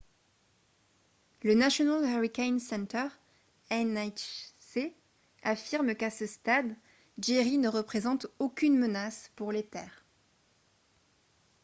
le national hurricane center nhc affirme qu'à ce stade jerry ne représente aucune menace pour les terres